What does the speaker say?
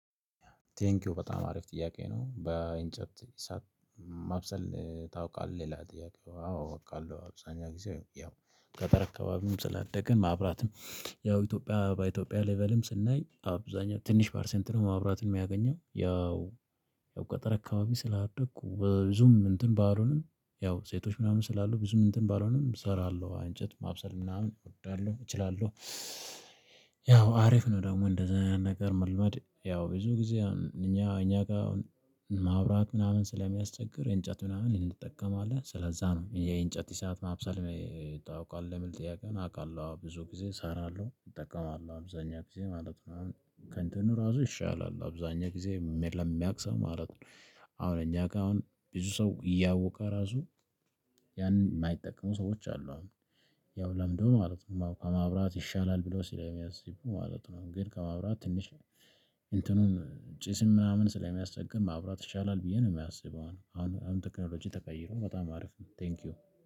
ቴንኪው በጣም አሪፍ ጥያቄ ነው? በእንጨት ማብሰል ታውቃለህ ይላል? ጥያቄ አዎ አውቃለው አብዛኛው ጊዜ ያው ገጠር አካባቢ ስላደግን ማብራትን ያው ኢትዮጵያ በኢትዮጵያ ሌብልም ስናይ አብዛኛው ትንሽ ፓርሰንት ነው ማብራትን የሚያገኘው ያው ገጠር አካባቢ ስላደኩ ብዙም እንትን ባልሆኑንም ያው ሴቶች ምናምን ስላሉ ብዙም እንትን ባልሆኑንም እሰራለሁ እንጨት ማብሰል ምናምን እወዳለሁ እችላለሁ። ያው አሪፍ ነው ደግሞ እንደዚያ አይነት ነገር መልመድ ያው ብዙ ጊዜ እኛ እኛ ጋር ማብራት ምናምን ስለሚያስቸግር እንጨት ምናምን እንድጠቀማለን ስለዝያ ነው የእንጨት እሳት ማብሰል ታውቃል የምል ጥያቄ ነው? አውቃለሁ አዎ ብዙ ጊዜ እሰራለሁ እጠቀማለሁ አብዛኛ ጊዜ ማለት ነው። አሁን ከንትኑ ራሱ ይሻላል አብዛኛ ጊዜ ለሚያቅ ሰው ማለት ነው። አሁን እኛ ጋር አሁን ብዙ ሰው እያወቀ ራሱ ያንን የማይጠቀሙ ሰዎች አሉ አሁን ያው ለምደው ማለት ነው ማብራት ይሻላል ብሎ ስለሚያስቡ ማለት ነው። ግን ከማብራት ትንሽ እንትኑን ጭስም ምናምን ስለሚያስቸግር ማብራት ይሻላል ብዬ ነው የማስበው። አሁን አሁን ቴክኖሎጂ ተቀይሮ በጣም አሪፍ ነው። ቴንኪው